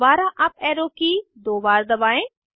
दोबारा up arrow की दो बार दबाएं